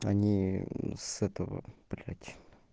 они мм с этого блять